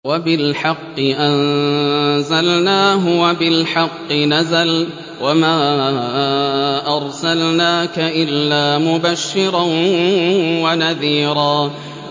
وَبِالْحَقِّ أَنزَلْنَاهُ وَبِالْحَقِّ نَزَلَ ۗ وَمَا أَرْسَلْنَاكَ إِلَّا مُبَشِّرًا وَنَذِيرًا